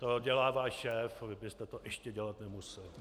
To dělává šéf a vy byste to ještě dělat nemusel.